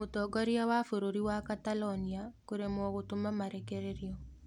Mũtongoria wa bũrũri wa Catalonia kũremwo gũtũma marekererio.